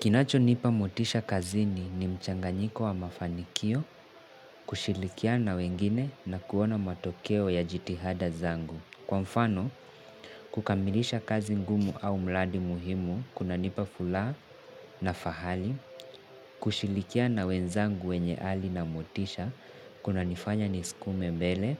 Kinacho nipa motisha kazini ni mchanganyiko wa mafanikio, kushilikiana na wengine na kuona matokeo ya jitihada zangu. Kwa mfano, kukamilisha kazi ngumu au mradi muhimu, kuna nipa furaha na fahali, kushirikiana na wenzangu wenye ari na motisha, kunanifanya niskume mbele,